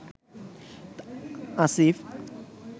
Asif